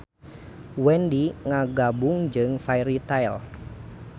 Wendy ngagabung jeung Fairy Tail.